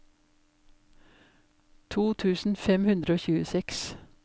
to tusen fem hundre og tjueseks